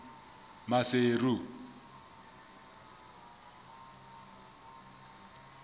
maseru